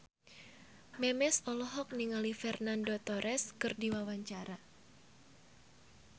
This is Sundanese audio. Memes olohok ningali Fernando Torres keur diwawancara